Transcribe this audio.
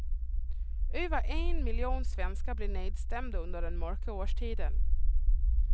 Över en miljon svenskar blir nedstämda under den mörka årstiden.